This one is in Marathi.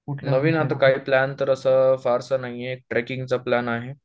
नवीन आता काय प्लॅन तर असं फारसं नाहीये, ट्रेकिंग चा प्लॅन आहे